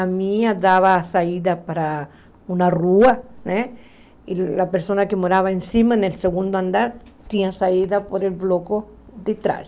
A minha dava saída para uma rua né, e a pessoa que morava em cima né, no segundo andar, tinha saída pelo bloco de trás.